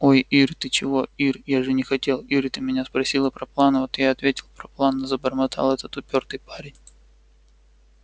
ой ир ты чего ир я же не хотел ир ты меня спросила про планы вот я и ответил про планы забормотал этот упёртый парень